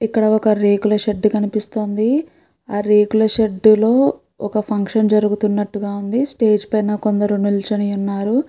ఇక్కడ ఒక రేకుల షెడ్ కనిపిస్తోంది ఆ రేకుల షెడ్ లో ఒక ఫంక్షన్ జరుగుతున్నట్టుగా ఉంది స్టేజ్ పైన కొందరు నిల్చున్నట్టుగా ఉన్నారు.